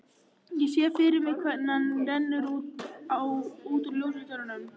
Ég sé fyrir mér hvernig hann rennur út úr ljósastaurnum.